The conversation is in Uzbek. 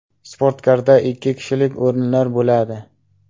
Sportkarda ikki kishilik o‘rinlar bo‘ladi.